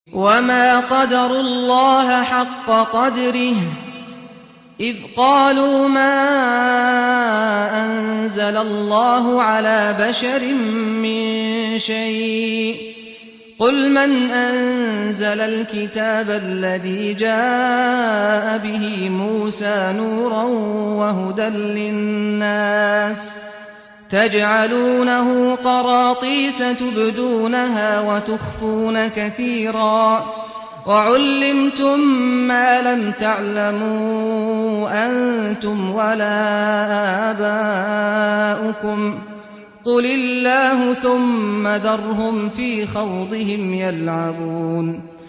وَمَا قَدَرُوا اللَّهَ حَقَّ قَدْرِهِ إِذْ قَالُوا مَا أَنزَلَ اللَّهُ عَلَىٰ بَشَرٍ مِّن شَيْءٍ ۗ قُلْ مَنْ أَنزَلَ الْكِتَابَ الَّذِي جَاءَ بِهِ مُوسَىٰ نُورًا وَهُدًى لِّلنَّاسِ ۖ تَجْعَلُونَهُ قَرَاطِيسَ تُبْدُونَهَا وَتُخْفُونَ كَثِيرًا ۖ وَعُلِّمْتُم مَّا لَمْ تَعْلَمُوا أَنتُمْ وَلَا آبَاؤُكُمْ ۖ قُلِ اللَّهُ ۖ ثُمَّ ذَرْهُمْ فِي خَوْضِهِمْ يَلْعَبُونَ